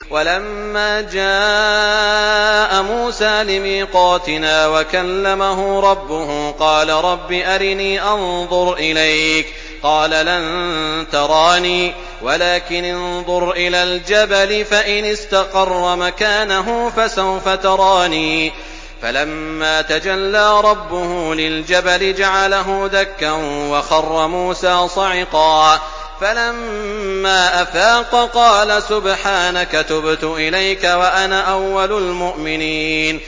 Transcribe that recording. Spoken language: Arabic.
وَلَمَّا جَاءَ مُوسَىٰ لِمِيقَاتِنَا وَكَلَّمَهُ رَبُّهُ قَالَ رَبِّ أَرِنِي أَنظُرْ إِلَيْكَ ۚ قَالَ لَن تَرَانِي وَلَٰكِنِ انظُرْ إِلَى الْجَبَلِ فَإِنِ اسْتَقَرَّ مَكَانَهُ فَسَوْفَ تَرَانِي ۚ فَلَمَّا تَجَلَّىٰ رَبُّهُ لِلْجَبَلِ جَعَلَهُ دَكًّا وَخَرَّ مُوسَىٰ صَعِقًا ۚ فَلَمَّا أَفَاقَ قَالَ سُبْحَانَكَ تُبْتُ إِلَيْكَ وَأَنَا أَوَّلُ الْمُؤْمِنِينَ